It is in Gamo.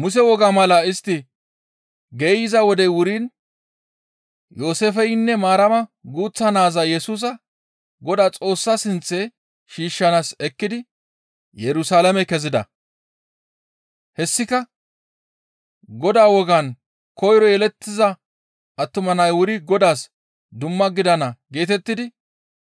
Muse wogaa mala istti geeyza wodey wuriin Yooseefeynne Maarama guuththa naaza Yesusa Godaa Xoossa sinththe shiishshanaas ekkidi Yerusalaame kezida. Hessika Godaa wogaan koyro yelettiza attuma nay wuri Godaas dumma gidana geetettidi